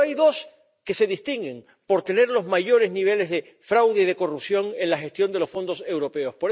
Pero hay dos que se distinguen por tener los mayores niveles de fraude y de corrupción en la gestión de los fondos europeos.